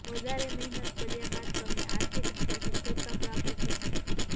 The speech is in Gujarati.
વધારે મહેનત કર્યા બાદ તમને આર્થિક રીતે સધ્ધરતા પ્રાપ્ત થશે